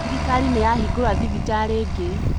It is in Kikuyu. Thirikari nĩyahingũra thibitarĩ ingĩ